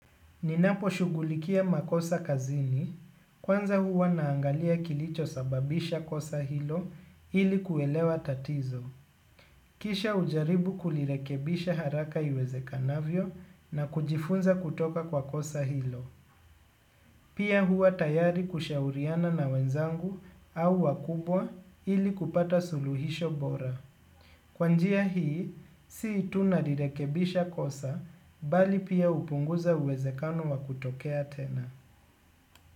Ninaposhughulikia makosa kazini, kwanza huwa naangalia kilicho sababisha kosa hilo ili kuelewa tatizo. Kisha hujaribu kulirekebisha haraka iwezekanavyo na kujifunza kutoka kwa kosa hilo. Pia huwa tayari kushauriana na wenzangu au wakubwa ili kupata suluhisho bora. Kwa njia hii, si tu nalirekebisha kosa bali pia hupunguza uwezekano wa kutokea tena.